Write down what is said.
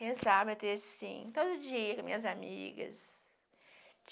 Rezava até assim, todo dia, com minhas amigas.